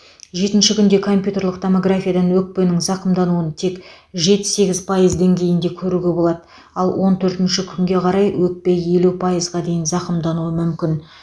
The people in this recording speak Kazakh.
жетінші күнде компьютерлік томографиядан өкпенің зақымдануын тек жеті сегіз пайыз деңгейінде көруге болады ал он төртінші күнге қарай өкпе елу пайызға дейін зақымдануы мүмкін